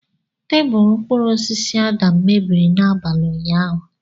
Tebụl mkpụrụ osisi Adam mebiri n'abalị ụnyahụ.